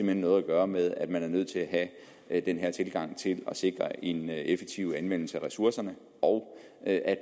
hen noget at gøre med at man er nødt til at have den her tilgang til at sikre en effektiv anvendelse af ressourcerne og at